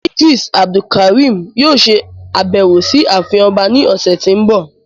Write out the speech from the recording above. Idris Abdulkarim yoo ṣe abẹwo si aafin ọba ni ọsẹ ti n bọ